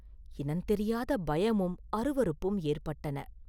இனந்தெரியாத பயமும் அருவருப்பும் ஏற்பட்டன.